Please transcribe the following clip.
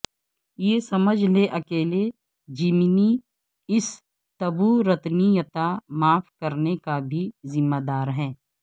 یہ سمجھ لے اکیلے جیمنی اس تبورتنییتا معاف کرنے کا بھی ذمہ دار ہے